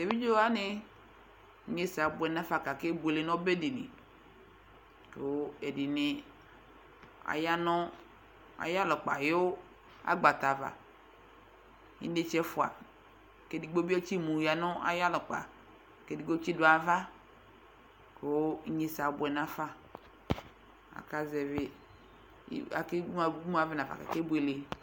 evidzewani inyesɛ abuɛnafa kake buele nʋ ɔbɛdili kʋ ɛdini ayanu ayiyalɛkpa ayu agbatava inetse ɛfʋa edigbobi atsimuya nu ayiyalɛ ʋkpa idigbo tsidʋava kʋ enyesɛ abʋɛnafa akazɛvi ake ŋua kimʋavɛ nafa kake buele